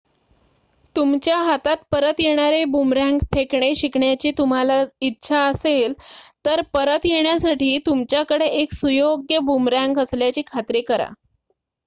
तुमच्या हातात परत येणारे बूमरँग फेकणे शिकण्याची तुम्हाला इच्छा असेल तर परत येण्यासाठी तुमच्याकडे एक सुयोग्य बूमरँग असल्याची खात्री करा